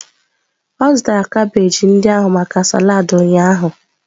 Ọ zụtara kabeeji ndị ahụ maka salad ụnyaahụ.